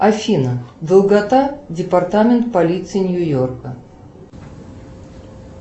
афина долгота департамент полиции нью йорка